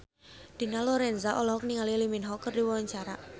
Dina Lorenza olohok ningali Lee Min Ho keur diwawancara